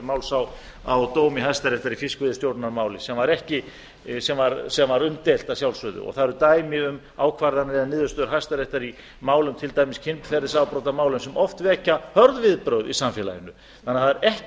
máls á dómi hæstaréttar í fiskveiðistjórnarmáli sem var umdeilt að sjálfsögðu það eru dæmi um ákvarðanir eða niðurstöður hæstaréttar í málum til dæmis kynferðisafbrotamálum sem oft vekja hörð viðbrögð í samfélaginu þannig að það er ekki